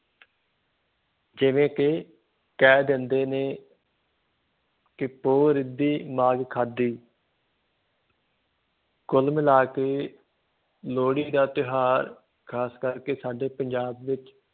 ਜਿਵੇਂ ਕਿ ਕਹਿ ਦਿੰਦੇ ਨੇ ਕਿ ਪੋਹ ਰਿੱਧੀ ਮਾਘ ਖਾਧੀ ਕੁੱਲ ਮਿਲਾ ਕੇ ਲੋਹੜੀ ਦਾ ਤਿਉਹਾਰ ਖ਼ਾਸ ਕਰਕੇ ਸਾਡੇ ਪੰਜਾਬ ਵਿੱਚ